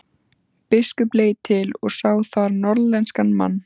Biskup leit til og sá þar norðlenskan mann.